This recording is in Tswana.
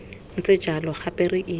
ntse jalo gape re ile